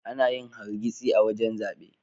Anayin hargitsi a wajan zabe